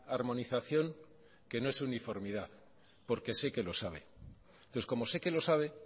armonización que no es uniformidad porque sé que lo sabe entonces como sé que lo sabe